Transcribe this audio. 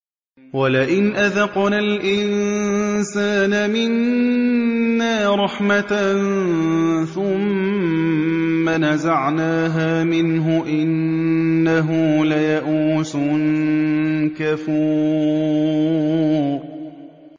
وَلَئِنْ أَذَقْنَا الْإِنسَانَ مِنَّا رَحْمَةً ثُمَّ نَزَعْنَاهَا مِنْهُ إِنَّهُ لَيَئُوسٌ كَفُورٌ